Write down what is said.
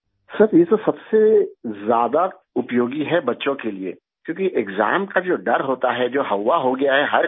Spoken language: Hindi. सर ये तो सबसे ज्यादा उपयोगी है बच्चों के लिए क्योंकि एक्साम का जो डर होता है जो हव्वा हो गया है हर घर में